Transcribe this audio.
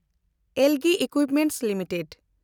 LG equipments limited